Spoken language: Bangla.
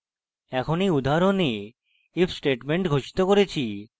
আমরা এই উদাহরণে if statement ঘোষিত করেছি